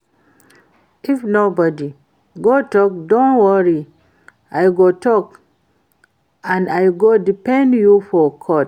If nobody go talk don't worry I go talk and I go defend you for court